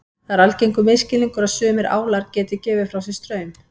Það er algengur misskilningur að sumir álar geti gefið frá sér straum.